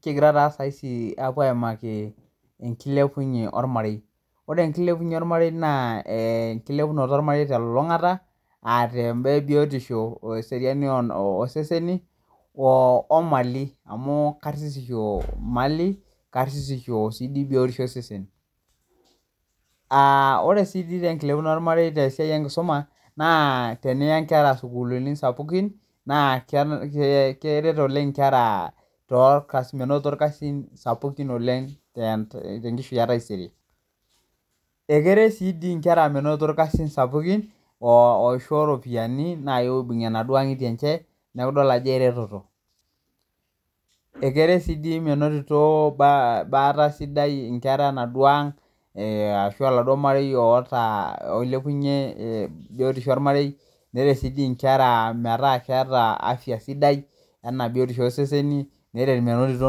Kigira taa saisi aapo aimaki enkilepnye ormarei, ore enkilepunye ormarei naa enkilepunyete ormarei te lulungata, aa te imbaa ebiotisho oaa eseriani oseseni, omali amuu nkaririsho malii, nkaririsho sii ninye ebiotisho osesen, ore sii te nkilepunoto ormarei te siai enkisuma naa teniya inkera sukulini sapukin, na keret oleng inkera too ilkasin, menotito ilkasin sapukin oleng te nkishuie taisere. Ekeret sii dii inkera menotito ilkasin sapukin oisho iropiyiani naapo aibung'ie enaduo ang'itie enche, naaku idol ajo ereteto. Ekeret si dii menotito baata sidai inkera enaduo aang' ashu eladuo ormarei ootaa oilepunye biotisho ormarei, neret sii inkera metaa keata afiya sidai enaa biotisho oseseni, neret menotito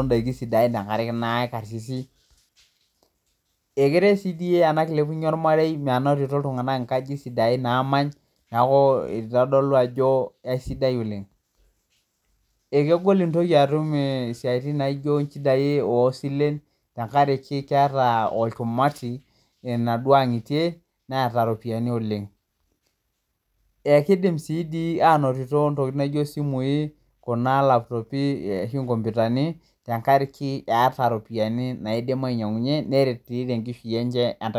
indaki sidain tengaraki naa ekarsisi. Ekeret sii dii ena nkiliapunoto ormarei menotito iltunganak inkajijik sidain naamany, naaku eitodolu ajo esidai oleng. Ekegol intoki atum siatin naijo inchidai oosilen tengaraki keata olkumati enaduo ang'itie neata iropiani oleng. Ekeidim sii anotito ntokitin naijo simuii kuna laputoopi ashu enkompitani tengaraki eata iropiyiani naidim ainyang'unye neret sii te nkishui enche e taisere.